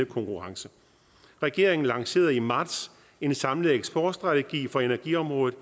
konkurrence regeringen lancerede i marts en samlet eksportstrategi for energiområdet